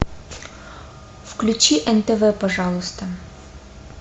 включи нтв пожалуйста